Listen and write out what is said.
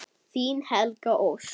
Þín Helga Ósk.